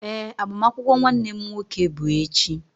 Ee, agbamakwụkwọ nwanne m nwoke bụ echi.